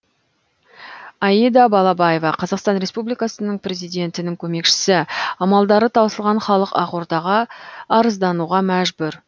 аида балаева қазақстан республикасының президентінің көмекшісі амалдары таусылған халық ақордаға арыздануға мәжбүр